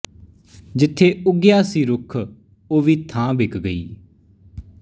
ਜਿੱਥੇ ਉੱਗਿਆ ਸੀ ਰੁੱਖ ਉਹ ਵੀ ਥਾਂ ਵਿਕ ਗਈ